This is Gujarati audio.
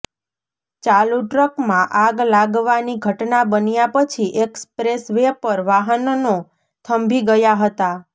ચાલું ટ્રકમાં આગ લાગવાની ઘટના બન્યા પછી એક્સપ્રેસ વે પર વાહનનો થંભી ગયા હતા